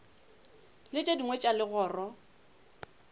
le tše dingwe tša legoro